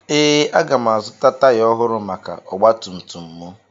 Ee, aga m azụta taya ọhụrụ maka ọgba tum tum m